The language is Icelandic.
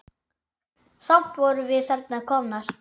Samt vorum við þarna komnar.